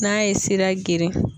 N'a ye sira geren.